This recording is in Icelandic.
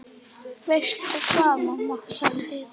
Veistu hvað, mamma, sagði Heiða.